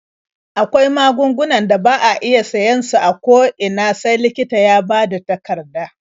Akwai magungunan da ba a iya siyan su a ko ina sai likita ya bada takarda.